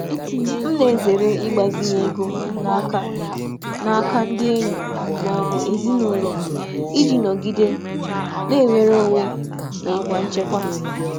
M na-ezere ịgbazinye ego n’aka ndị enyi ma ọ bụ ezinụlọ iji nọgide na-enwe nnwere onwe n’àgwà nchekwa.